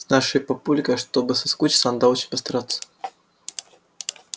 с нашей папулькой чтобы соскучиться надо очень постараться